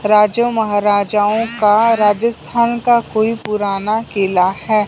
राजा महाराजाओं का राजस्थान का कोई पुराना किला है।